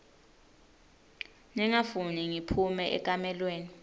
ningafuni ngiphume ekamelweni